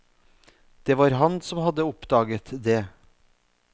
Det var han som hadde oppdaget det.